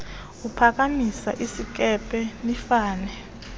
uphakamisa isinkempe nifane